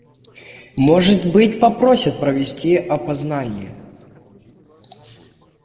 может быть попросят провести опознание